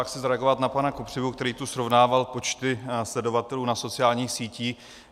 Já chci zareagovat na pana Kopřivu, který tu srovnával počty sledovatelů na sociálních sítích.